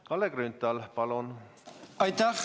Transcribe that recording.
Kalle Grünthal, palun!